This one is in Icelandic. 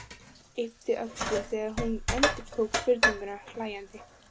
Yppti öxlum þegar hún endurtók spurninguna hlæjandi.